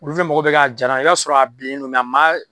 mɔgɔ bɛ k'a jalan i b'a sɔrɔ a bilennen do a maa